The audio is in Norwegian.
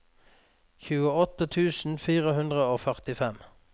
tjueåtte tusen fire hundre og førtifem